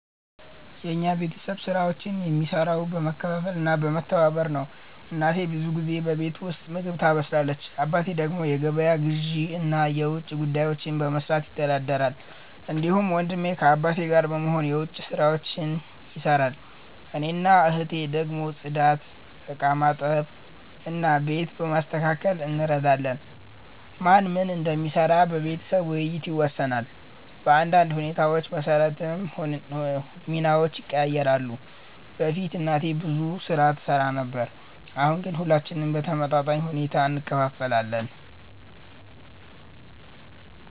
የኛ ቤተሰብ ስራዎችን የሚሰራው በመካፈል እና በመተባበር ነው። እናቴ ብዙ ጊዜ በቤት ውስጥ ምግብ ታበስላለች። አባቴ ደግሞ የገበያ ግዢ እና የውጭ ጉዳዮችን በመስራት ይተዳደራል። እንዲሁም ወንድሜ ከአባቴ ጋር በመሆን የዉጭ ስራዎች ይሰራል። እኔና እህቴ ደግሞ ጽዳት፣ ዕቃ በማጠብ እና ቤት በማስተካከል እንረዳለን። ማን ምን እንደሚሰራ በቤተሰብ ውይይት ይወሰናል፣ በአንዳንድ ሁኔታዎች መሰረትም ሚናዎች ይቀያየራሉ። በፊት እናቴ ብዙ ስራ ትሰራ ነበር፣ አሁን ግን ሁላችንም በተመጣጣኝ ሁኔታ እንካፈላለን።